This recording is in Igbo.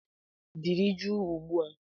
Dịrị jụụ ugbu a!